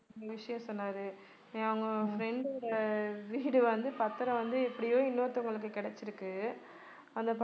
விஷயம் சொன்னாரு என் அவங்க friend ஓட வீடு வந்து பத்திரம் வந்து எப்படியோ இன்னொருத்தவங்களுக்கு கிடைச்சிருக்கு